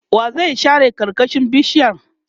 wa zai share karkashin bishiyar?